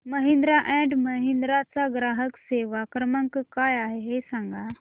Mahindra and Mahindra चा ग्राहक सेवा क्रमांक काय आहे हे सांगा